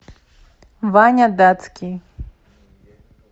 ваня датский